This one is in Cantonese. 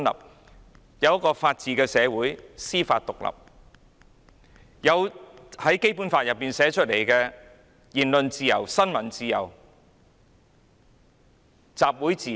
香港也是一個法治社會，司法獨立，並享有《基本法》訂明的言論自由、新聞自由、集會自由。